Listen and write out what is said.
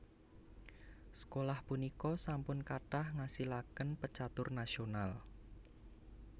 Sekolah punika sampun kathah ngasilaken pecatur nasional